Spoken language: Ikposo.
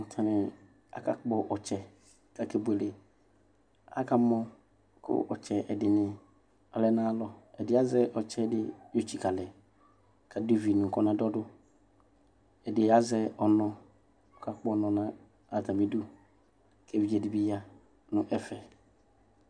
Atani akapkɔ ɔtsɛ kʋ aka buele akɔma kʋ ɔtsɛ ɛdini alɛ nʋ ayʋ alɔ ɛdi azɛ ɔtsɛdi yɔtsikalɛ kʋ adʋ ivi nʋ kɔna dɔdʋ azɛ ɔnɔ kʋ aka kpɔ ɔnɔ nʋ atmibidʋ kʋ evidze dibi yanʋ ɛfɛ